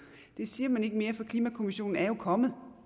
det siger man ikke mere for klimakommissionen er jo kommet